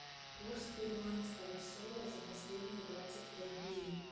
курс перуанского соля за последние двадцать пять дней